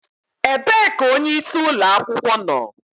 Ebee ka onyeisi ụlọ akwụkwọ nọ?